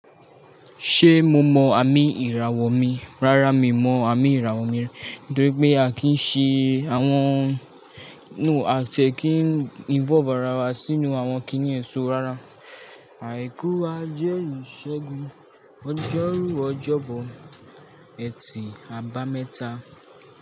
Ṣe mo mọ àmì ìràwọ̀ mi? Rárá, mi mọ àmì ìràwọ̀ mi, torí pé a kì í ṣe àwọn, no, a tẹ ki ń involve ara wa sínú àwọn kiní ẹ̀ṣọ́ rárá. Àìkú a jẹ ìṣẹ́gun, ọjọ́rú ọjọ́bọ, ẹ̀tì àbámẹ́ta.